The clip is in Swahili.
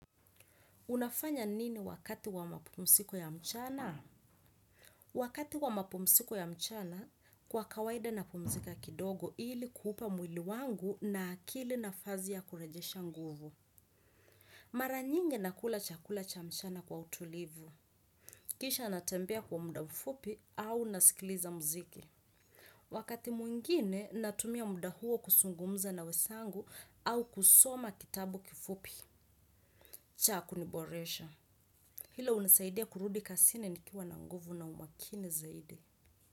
Unafanya nini wakati wa mapumziko ya mchana? Wakati wa mapumziko ya mchana, kwa kawaida na pumzika kidogo ili kuupa mwili wangu na akili nafasi ya kurejesha nguvu. Maranyingi nakula chakula cha mchana kwa utulivu. Kisha natembea kwa muda mfupi au nasikiliza muziki. Wakati mwingine, natumia muda huo kuzungumza na wenzangu au kusoma kitabu kifupi. Chaa kuniboresha. Hilo unisaidia kurudi kazini nikiwa na nguvu na umakini zaidi.